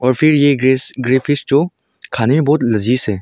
फिर ये ग्रेस ग्रे फिश जो खाने में बहुत लजीज है।